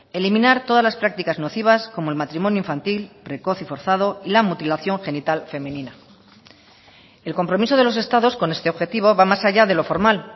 eliminar todas las prácticas nocivas como el matrimonio infantil precoz y forzado y la mutilación genital femenina el compromiso de los estados con este objetivo va más allá de lo formal